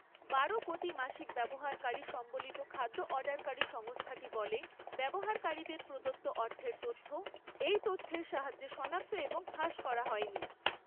বারো কোটি মাসিক ব্যবহারকারী সম্বলিত খাদ্য অর্ডারকারী সংস্থাটি বলে, ব্যবহারকারীদের প্রদত্ত অর্থের তথ্য এই তথ্যের সাহায্যে শনাক্ত এবং ফাঁস করা হয়নি।